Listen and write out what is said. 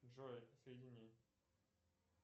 джой соедини